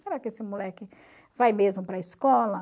Será que esse moleque vai mesmo para a escola?